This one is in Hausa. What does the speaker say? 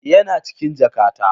Yana cikin jakata.